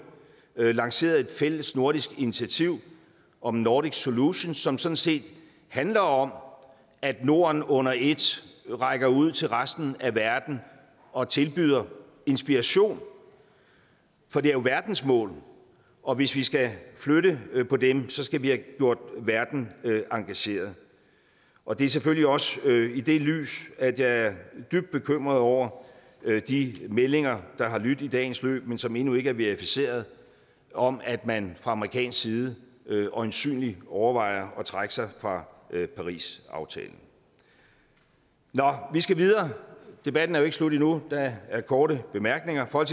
lanceret et fælles nordisk initiativ om nordic solution som sådan set handler om at norden under et rækker ud til resten af verden og tilbyder inspiration for det er jo verdensmål og hvis vi skal flytte på dem skal vi have gjort verden engageret og det er selvfølgelig også i det lys at jeg er dybt bekymret over de meldinger der har lydt i dagens løb men som endnu ikke er verificeret om at man fra amerikansk side øjensynlig overvejer at trække sig fra parisaftalen nå vi skal videre debatten er jo ikke slut endnu der er korte bemærkninger og